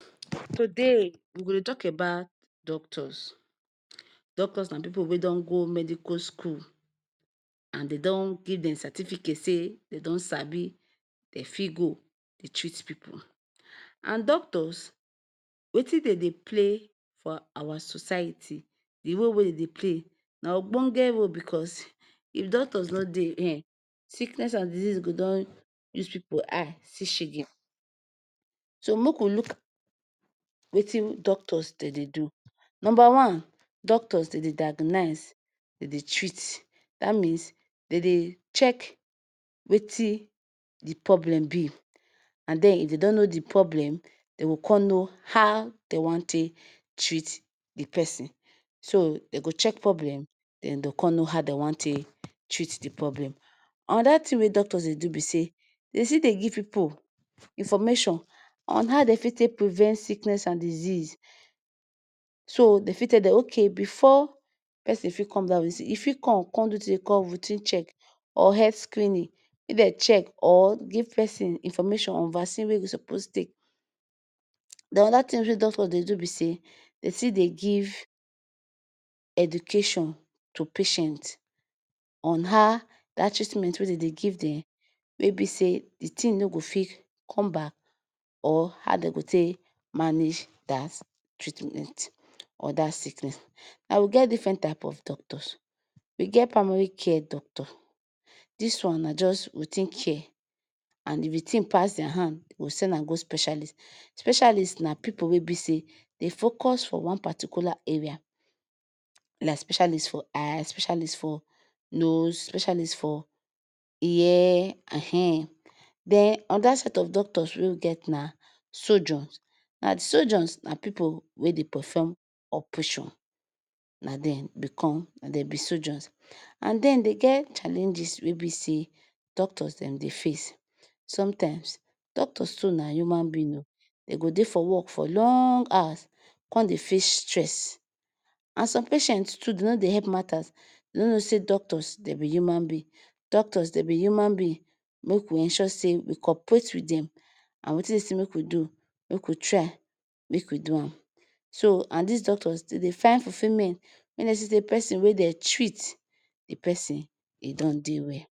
Today we go talk abat doctors and pipu wey don go medical school and den don give dem certificate say dem don sabi den fit go Dey treat pipu and doctors Wetin den Dey play for Awa society d role wey den Dey Dey play na ogbonge role cos if doctors no Dey sickness go don use pipu eye see shege so make we luk at?? Wetin doctors dem Dey do, number wan doctors den Dey diagoniz, dem Dey treat ,that means dem Dey check Wetin d problem be and dem if dem don know d problem dem go con know haw den wan take treat d person so dem go check problem? Dem go con know how want take treat the problem anoda thing wey doctors Dey do be say dem fit dey give pipu information on haw dem fit take prevent sickness and disease ?so dem fit tell dem so before person fi come that visit e Fi come do rutin check or het screening if den check or give person information or vacin wey person suppose take dem anoda tin wey doctors Dey do be say Dey Fi Dey give education to patient on ha that treatment when dem Dey give dem wey be say d Tim no go fit come back or ha dem go Fi take manage that treatment or that sickness na we get different types of doctors, we get primary care doctor this wan na just routin care and if the tin pass their hand we go send an go specialist, specialist na pipu wey be say dem focus for one particular area like specialist for eyes, specialist for nose, specialist for ear, ahennn!! then another set of doctors na sojuns, ba sojuns na pipu wey Dey perforn opration, na dem be con na dem be sojuns and den Dey get challenges wey be say doctors dem Dey face sometimes doctors too na uman bin oo ,den go Dey for work for long for long awas con Dey face stress, an some patients too den no Dey help matters dem no Dey know say doctors dem be uman bin, doctors dem be uman bin make we ensure say we coprate with dem an Wetin den say make we do make we try make we do an so and dis doctors dem Dey find fufiment wen den see say person wen den treat d person e don Dey well